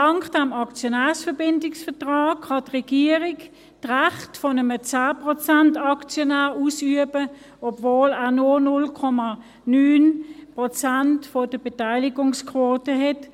Dank des Aktionärbindungsvertrags kann die Regierung die Rechte eines 10-Prozent-Aktionärs ausüben, obwohl er nur 0,9 Prozent der Beteiligungsquote hat.